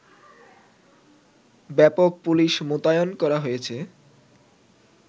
ব্যাপক পুলিশ মোতায়েন করা হয়েছে